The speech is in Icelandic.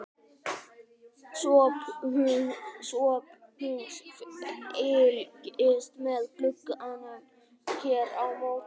SOPHUS: Fylgist með glugganum hér á móti.